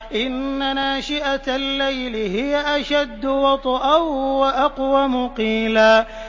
إِنَّ نَاشِئَةَ اللَّيْلِ هِيَ أَشَدُّ وَطْئًا وَأَقْوَمُ قِيلًا